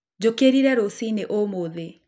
Njũkĩrire rũcinĩ ũmũthĩ